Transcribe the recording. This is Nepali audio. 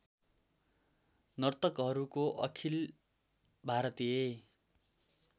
नर्तकहरूको अखिल भारतीय